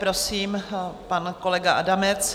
Prosím, pan kolega Adamec.